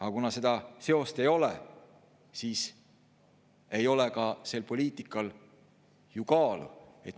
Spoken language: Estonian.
Aga kuna seda seost ei ole, siis ei ole ka sel poliitikal ju kaalu.